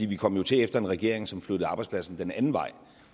vi kom jo til efter en regering som flyttede arbejdspladser den anden vej